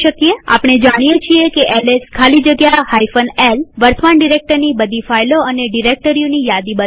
આપણે જાણીએ છીએ એલએસ ખાલી જગ્યા l વર્તમાન ડિરેક્ટરીની બધી ફાઈલો અને ડિરેક્ટરીઓની યાદી બતાવે છે